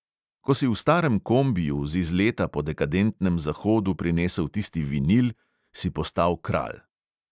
Ko si v starem kombiju z izleta po dekadentnem zahodu prinesel tisti vinil, si postal kralj.